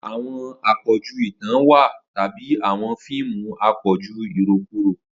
Awọn apọju itan wa tabi awọn fiimu apọju irokuro.